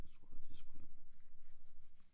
Jeg tror at de springer over